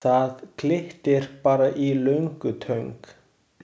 Það glittir bara í löngutöng.